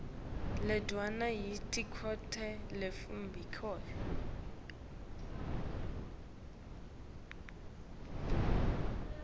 lendvuna yelitiko letebuciko